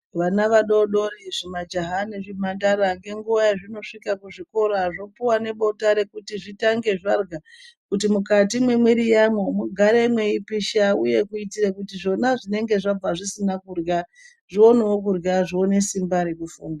Vana vadodori, zvimajaha nezvimhandara, ngenguwa yazvinosvike kuzvikora, zvopuwa nebota rekuti zvitange zvarya, kuti mukati mwemwiri yamwo mugare mweipisha ,uye kuitire kuti zvona zvinenge zvabva zvisina kurya, zvionewo kurya, zvionewo simba rekufunda.